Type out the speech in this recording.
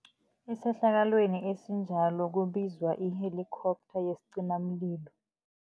Esehlakalweni esinjalo kubizwa i-helicopter yesicimamlilo.